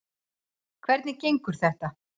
Hvernig gengur þetta?